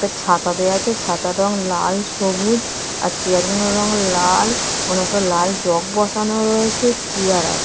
একটা ছাতা দেওয়া আছে ছাতার রং লাল সবুজ আর চিয়ার -গুলোর রং লাল ওখানে একটা লাল জগ বসানো রয়েছে চিয়ার আছে।